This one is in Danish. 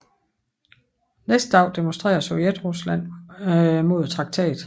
Næste dag demonstrerer Sovjetrusland mod traktaten